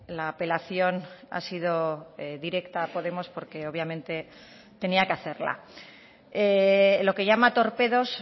la apelación ha sido directa a podemos porque obviamente tenía que hacerla lo que llama torpedos